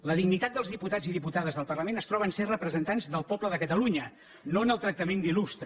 la dignitat dels diputats i diputades del parlament es troba en el fet de ser representants del poble de catalunya no en el tractament d’il·lustre